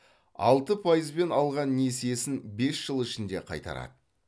алты пайызбен алған несиесін бес жыл ішінде қайтарады